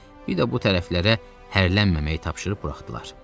Bir də bu tərəflərə hərlənməməyi tapşırıb buraxdılar.